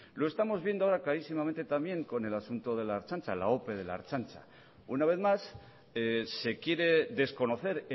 lo estamos viendo ahora clarísimamente también con el asunto de la ertzaintza la ope de la ertzaintza una vez más se quiere desconocer